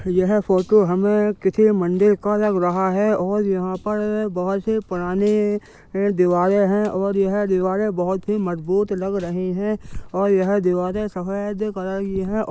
यह फोटो हमें किसी मंडी का लग रहा है और यहाँ पर बहुत सी पुरानी दीवारे हैं और यह दिवारे बहुत ही मजबूत लग रही है और यह दीवारे सफ़ेद कलर की है।